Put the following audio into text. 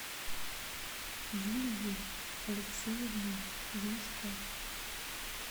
юлией алексеевной глушко